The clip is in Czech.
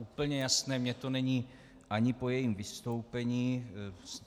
Úplně jasné mi to není ani po jejím vystoupení.